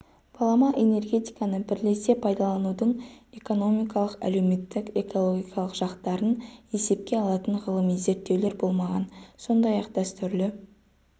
балама энергетиканы бірлесе пайдаланудың экономикалық әлеуметтік экологиялық жақтарын есепке алатын ғылыми зерттеулер болмаған сондай-ақ дәстүрлі